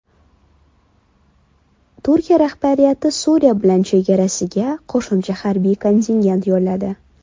Turkiya rahbariyati Suriya bilan chegarasiga qo‘shimcha harbiy kontingent yo‘lladi.